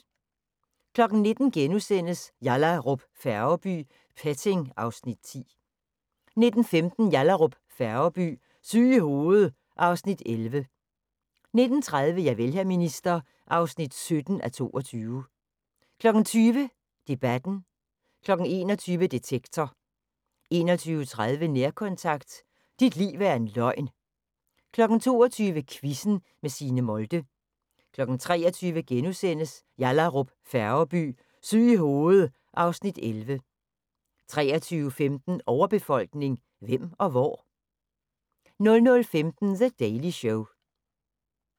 19:00: Yallahrup Færgeby: Petting (Afs. 10)* 19:15: Yallahrup Færgeby: Syg i hovedet (Afs. 11) 19:30: Javel, hr. minister (17:22) 20:00: Debatten 21:00: Detektor 21:30: Nærkontakt – Dit liv er en løgn 22:00: Quizzen med Signe Molde 23:00: Yallahrup Færgeby: Syg i hovedet (Afs. 11)* 23:15: Overbefolkning – hvem og hvor? 00:15: The Daily Show